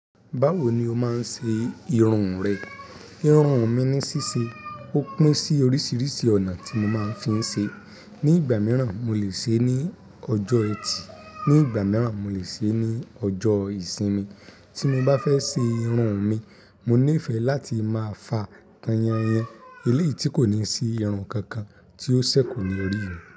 Báwo ni o máa ń ṣe irun rẹ? Irun mi ni ṣíṣe, ó pín sí oríṣiríṣi ọ̀nà tí mo máa ń fi ń ṣe. Ni ìgbà mìíràn, mo lè ṣe é ní ọjọ́ ẹtì, ní ìgbà mìíràn, mo lè ṣe é ní ọjọ́ ìsinmi. Tí mo bá fẹ́ ṣe irun mi, mo nífẹ̀ẹ́ láti máa fa tàn yanyan. Eléèti kò ní sí irun kankan tí ó ṣẹ̀ kò ní rí mi.